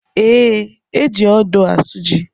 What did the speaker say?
E, eji odo asụ ji